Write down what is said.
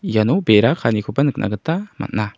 iano bera kaanikoba nikna gita man·a.